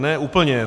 Ne úplně.